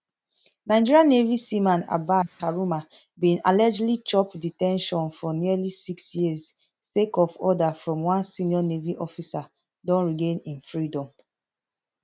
nigeria navy seaman abbas haruna bin allegedly chop de ten tion for nearly six years sake of order from one senior navy officer don regain im freedom